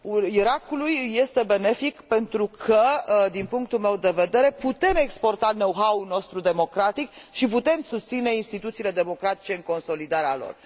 Irakului îi este benefic pentru că, din punctul meu de vedere, putem exporta know how ul nostru democratic și putem susține instituțiile democratice în consolidarea lor.